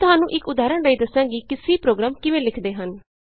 ਮੈਂ ਤੁਹਾਨੂੰ ਇਕ ਉਦਾਹਰਣ ਰਾਹੀਂ ਦੱਸਾਂਗੀ ਕਿ C ਪ੍ਰੋਗਰਾਮ ਕਿਵੇਂ ਲਿਖਦੇ ਹਨ